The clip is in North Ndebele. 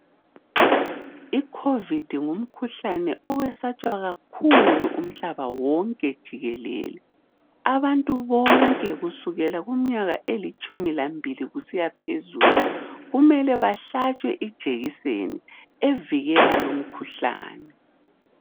i COVID ngumkhuhlane owesatshwa kakhulu umhlaba wonke jikelele umuntu wonke kusukela kuminyaka elitshumu lambili kusiyaphezulu kumele bahlatshwe ijekiseni evikela lu mkhuhlane